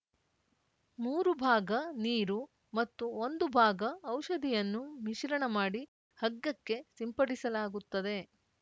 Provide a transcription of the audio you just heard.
ಮೂರು ಭಾಗ ನೀರು ಮತ್ತು ಒಂದು ಭಾಗ ಔಷಧಿಯನ್ನು ಮಿಶ್ರಣ ಮಾಡಿ ಹಗ್ಗಕ್ಕೆ ಸಿಂಪಡಿಸಲಾಗುತ್ತದೆ